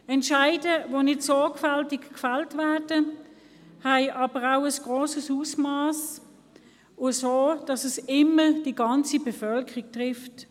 Entscheide, die nicht sorgfältig gefällt werden, sind aber auch von grossem Ausmass und zwar so, dass sie immer die ganze Bevölkerung treffen.